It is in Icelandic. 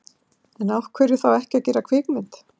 En af hverju þá ekki að gera kvikmynd?